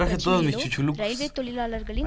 பிரச்சினையிலோ railway தொழிலாளர்களின்